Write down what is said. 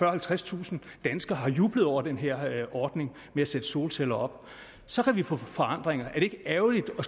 halvtredstusind danskere har jublet over den her ordning ved at sætte solceller op så kan vi få forandringer er det ikke ærgerligt at